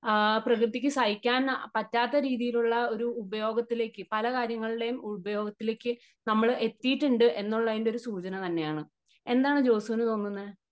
ആ പ്രകൃതിക്ക് സഹിക്കാന് പറ്റാത്ത രീതിയിലുള്ള ഒരു ഉപയോഗത്തിലേക്ക് പല കാര്യങ്ങളിലെയും ഉപയോഗത്തിലേക്ക് നമ്മള് എത്തിയിട്ടുണ്ട് എന്നുള്ളതിന്റെ ഒരു സൂചന തന്നെയാണ് . എന്താണ് ജോസുന് തോന്നുന്നേ?